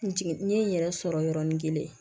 N jigin n ye n yɛrɛ sɔrɔ yɔrɔnin kelen